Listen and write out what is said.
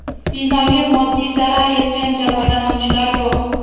Binoga moddiy zarar yetgan, jabrlanuvchilar yo‘q.